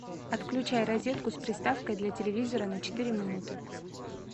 отключай розетку с приставкой для телевизора на четыре минуты